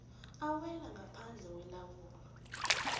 awela ngaphandle kwelawulo